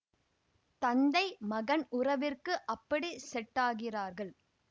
தந்தை மகன் உறவிற்கு அப்படி செட் ஆகிறார்கள்